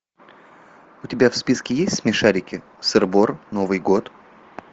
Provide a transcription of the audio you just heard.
у тебя в списке есть смешарики сыр бор новый год